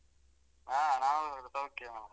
ಹಾ ನಾವು ಸೌಖ್ಯವು.